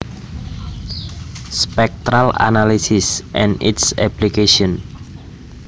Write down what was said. Spectral analysis and its applications